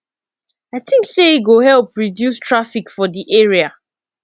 i think say e go help reduce traffic for di area